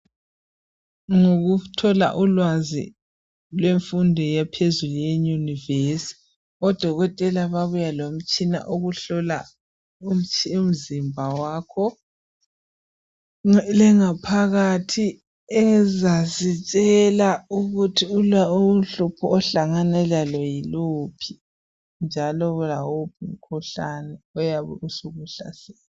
Ngokuthola ulwazi lwemfundo yaphezulu eunivesithi odokotela babuya lomtshina okuhlola umzimba wakho lengaphakathi ezasitshela ukuthi uhlupho ohlangane lalo yiluphi njalo yikuphi umkhuhlane oyabe ukuhlasele